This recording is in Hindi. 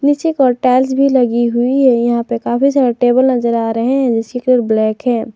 टाइल्स भी लगी हुई है यहां पे काफी सारे टेबल नजर आ रहे हैं जिसकी कलर ब्लैक है।